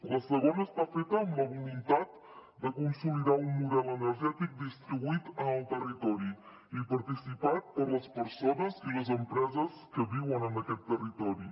la segona està feta amb la voluntat de consolidar un model energètic distribuït en el territori i participat per les persones i les empreses que viuen en aquest territori